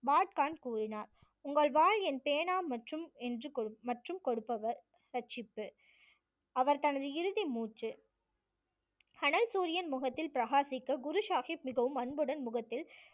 பாட் கான் கூறினார் உங்கள் வாள் என் பேனா மற்றும் என்று மற்றும் கொடுப்பவர் இரட்சிப்பு. அவர் தனது இறுதி மூச்சு அனல் சூரியன் முகத்தில் பிரகாசிக்க குரு சாஹிப் மிகவும் அன்புடன் முகத்தில்